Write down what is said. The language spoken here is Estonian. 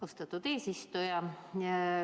Austatud eesistuja!